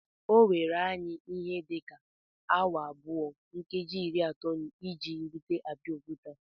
O were anyi ihe dị ka awa abụọ nkeji iri atọ iji rute Abeokuta